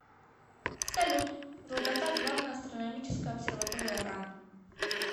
салют долгота главная астрономическая обсерватория ран